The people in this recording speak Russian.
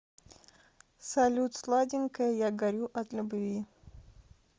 салют сладенькая я горю от любви